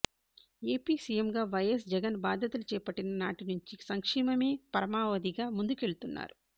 AP సీఎంగా YS Jagan బాధ్యతలు చేపట్టిన నాటి నుంచి సంక్షేమమే పరమావధిగా ముందుకెళ్తున్నారు